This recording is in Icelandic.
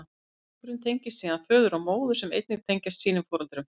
Einstaklingurinn tengist síðan föður og móður, sem einnig tengjast sínum foreldrum.